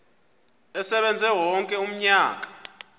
asebenze wonke umnyaka